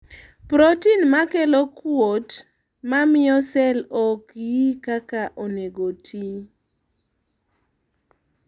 proten makelo kuot mamiyo sel ok yi kaka onego oti